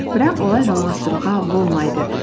бірақ олай жалғастыруға болмайды